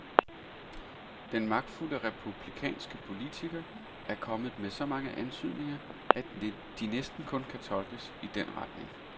Den magtfulde republikanske politiker er kommet med så mange antydninger, at de næsten kun kan tolkes i den retning.